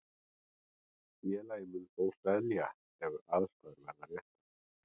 Félagið mun þó selja ef aðstæður verða réttar.